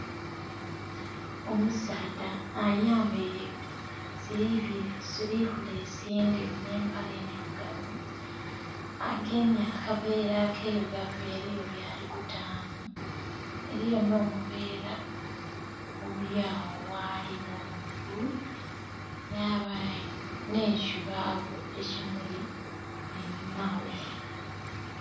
Omusaadha ayambaile silivulesi endheru nh'empale endhirugavu, agemye akaveera akailugavu eliyo byali kutaamu. Eliyo nh'obuveera obuli agho ghali ogh'omugulu. Yabayo nh'ekibaawo ekimuli einhuma ghe.